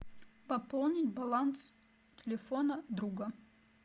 пополнить баланс телефона друга